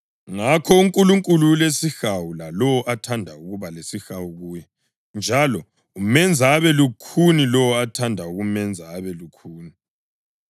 Ngakho uNkulunkulu ulesihawu kulowo athanda ukuba lesihawu kuye, njalo umenza abe lukhuni lowo athanda ukumenza abe lukhuni.